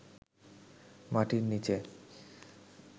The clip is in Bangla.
মাটির নিচে